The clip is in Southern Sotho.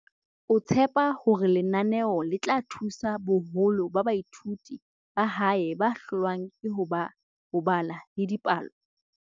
o tshepa hore lenaneo le tla thusa boholo ba baithuti ba hae ba hlo lwang ke ho bala le dipalo.